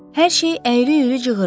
Hər şey əyri-üyrü cığırlar.